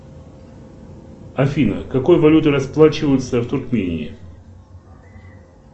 афина какой валютой расплачиваются в туркмении